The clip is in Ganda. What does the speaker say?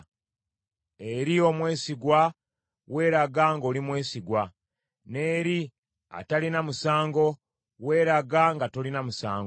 Eri omwesigwa weeraga ng’oli mwesigwa, n’eri atalina musango weeraga nga tolina musango.